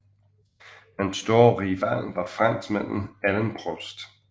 Hans store rival var franskmanden Alain Prost